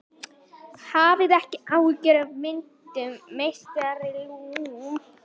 Hafið ekki áhyggjur af myndum meistara Lúnu.